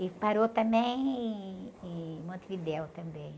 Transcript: E parou também em Montevidéu, também.